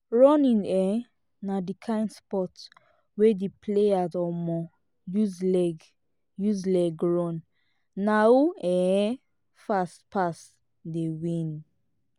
running um na di kind sport wey di players um use leg use leg run na who um fast pass dey win